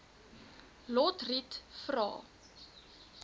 lotriet vra